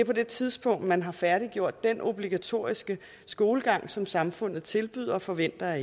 på det tidspunkt man har færdiggjort den obligatoriske skolegang som samfundet tilbyder og forventer af